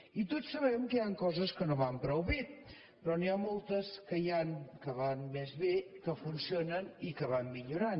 i tots sabem que hi han coses que no van prou bé però n’hi han moltes que van més bé que funcionen i que van millorant